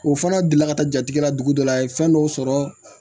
O fana delila ka taa jatigɛ la dugu dɔ la a ye fɛn dɔw sɔrɔ